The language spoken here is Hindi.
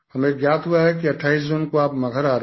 हमें ज्ञात हुआ है कि 28 जून को आप मगहर आ रहे हैं